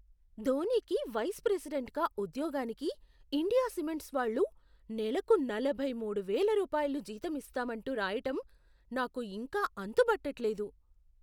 ధోనీకి vice ప్రెసిడెంట్గా ఉద్యోగానికి India cements వాళ్ళు నెలకు నలభై మూడు వేల రూపాయల జీతం ఇస్తామంటూ రాయటం నాకు ఇంకా అంతుబట్టట్లేదు.